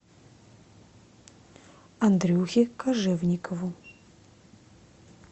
андрюхе кожевникову